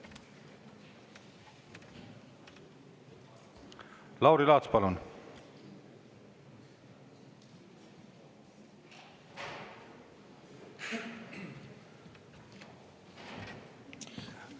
Lauri Laats, palun!